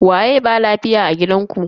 Waye ba lafiya a gidanku?